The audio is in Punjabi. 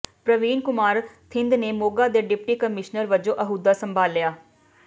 ਪ੍ਰਵੀਨ ਕੁਮਾਰ ਥਿੰਦ ਨੇ ਮੋਗਾ ਦੇ ਡਿਪਟੀ ਕਮਿਸ਼ਨਰ ਵਜੋਂ ਅਹੁਦਾ ਸੰਭਾਲਿਆ